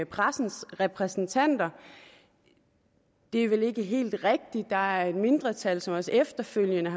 pressens repræsentanter det er vel ikke helt rigtigt der er et mindretal som også efterfølgende